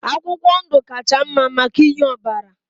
Akwụkwọ ndụ kacha mma maka inye ọbara